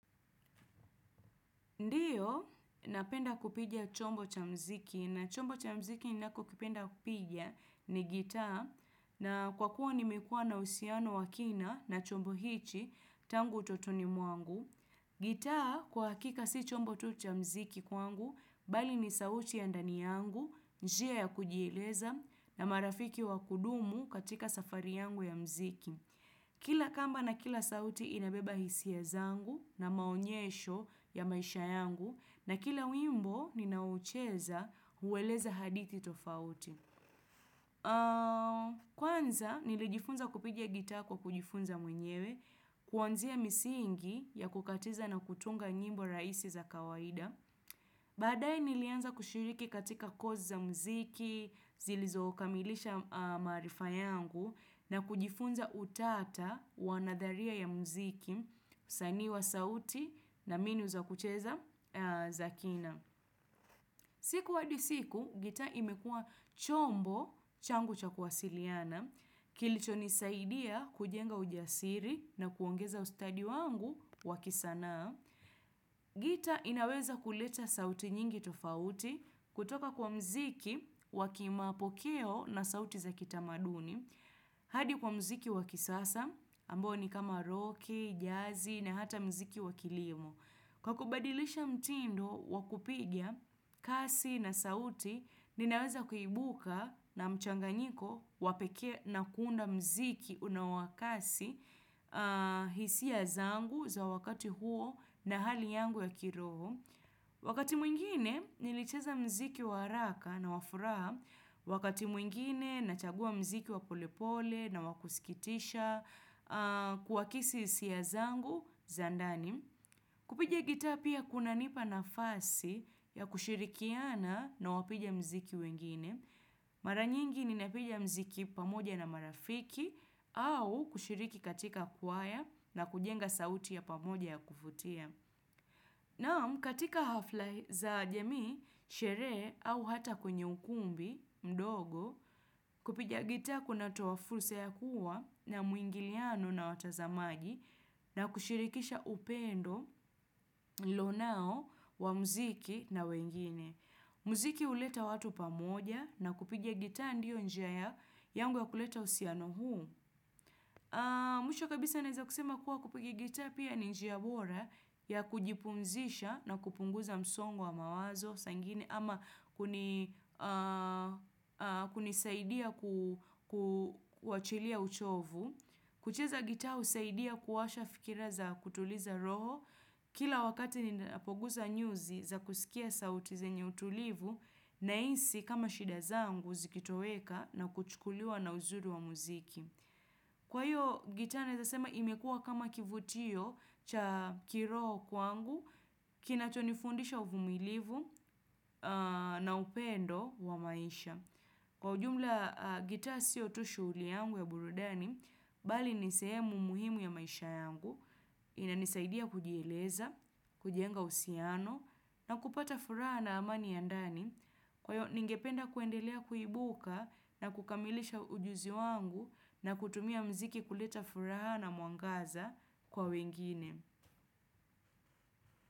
Ndiyo, napenda kupiga chombo cha muziki na chombo cha muziki ninachopenda kupiga ni gitaa na kwa kuwa nimekuwa na uhusiano wa kina na chombo hiki tangu utotoni mwangu. Gitaa kwa hakika sio chombo tu cha muziki kwangu, bali ni sauti ya ndani yangu, njia ya kujieleza na marafiki wa kudumu katika safari yangu ya muziki. Kila kamba na kila sauti inabeba hisia zangu na maonyesho ya maisha yangu na kila wimbo ninaoucheza hueleza hadhiti tofauti. Kwanza nilijifunza kupiga gitaa kwa kujifunza mwenyewe, kuanzia misingi ya kukatiza na kutunga nyimbo rahisi za kawaida. Badae nilianza kushiriki katika kosi za muziki, zilizokamilisha maarifa yangu na kujifunza utata wa nadharia ya muziki, usanii wa sauti na mbinu za kucheza za kina. Siku hadi siku, gitaa imekuwa chombo changu cha kuwasiliana. Kilichonisaidia kujenga ujasiri na kuongeza ustadi wangu wa kisanaa. Na gitaa inaweza kuleta sauti nyingi tofauti kutoka kwa muziki wa kimapokeo na sauti za kitamaduni. Hadi kwa muziki wa kisasa, ambao ni kama roki, jazi, na hata muziki wa kilimo. Kwa kubadilisha mtindo wa kupigia, kasi na sauti, ninaweza kuibuka na mchanganyiko wa pekee na kuunda muziki unao wa kasi. Hisia zangu za wakati huo na hali yangu ya kiroho. Wakati mwingine, nilicheza muziki wa haraka na wa furaha. Wakati mwingine, nachagua muziki wa pole pole na wa kusikitisha. Kuakisi hisia zangu za ndani. Kupija gitaa pia kunanipa nafasi ya kushirikiana na wapiga muziki wengine. Mara nyingi ninapiga mziki pamoja na marafiki au kushiriki katika kwaya na kujenga sauti ya pamoja ya kuvutia. Naam, katika hafla za jamii, sherehe au hata kwenye ukumbi mdogo, kupiga gitaa kunatoa fursa ya kuwa na mwingiliano na watazamaji na kushirikisha upendo, nilionao, wa muziki na wengine. Muziki huleta watu pamoja na kupiga gitaa ndio njia yangu ya kuleta uhusiano huu. Mwisho kabisa naweza kusema kuwa kupuga gitaa pia ni njia bora ya kujipumzisha na kupunguza msongo wa mawazo saa zingine ama hunisaidia kuwachilia uchovu. Kucheza gitaa husaidia kuwasha fikira za kutuliza roho kila wakati ninapoguza nyuzi za kusikia sauti zenye utulivu nahisi kama shida zangu zikitoweka na kuchukuliwa na uzuru wa muziki. Kwa hiyo, gitaa naweza sema imekua kama kivutio cha kiroho kwangu, kinatonifundisha uvumilivu na upendo wa maisha. Kwa ujumla, gitaa sio tu shughuli yangu ya burudani, bali ni sehemu muhimu ya maisha yangu, inanisaidia kujieleza, kujenga uhusiano, na kupata furaha na amani ya ndani. Kwa hiyo ningependa kuendelea kuibuka na kukamilisha ujuzi wangu na kutumia muziki kuleta furaha na mwangaza kwa wengine.